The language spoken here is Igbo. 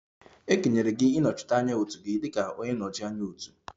E kenyere gị ịnọchite anya otu gị dị ka onye nnọchi anya otu?